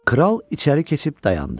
Kral içəri keçib dayandı.